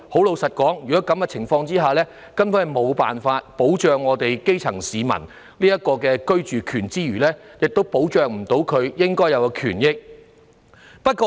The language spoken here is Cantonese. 老實說，在這情況下，政府根本無法保障基層市民的居住權，亦無法捍衞他們的應有權益。